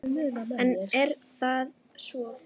En er það svo.